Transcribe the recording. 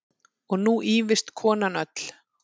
Og nú ýfist konan öll.